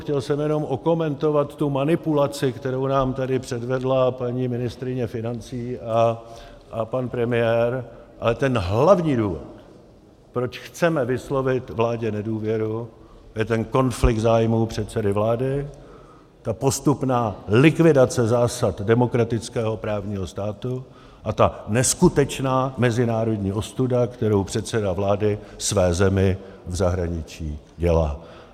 Chtěl jsem jenom okomentovat tu manipulaci, kterou nám tady předvedla paní ministryně financí a pan premiér, ale ten hlavní důvod, proč chceme vyslovit vládě nedůvěru, je ten konflikt zájmů předsedy vlády, ta postupná likvidace zásad demokratického právního státu a ta neskutečná mezinárodní ostuda, kterou předseda vlády své zemi v zahraničí dělá.